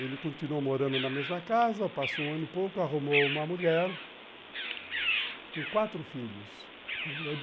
Ele continuou morando na mesma casa, passou um ano e pouco, arrumou uma mulher com quatro filhos.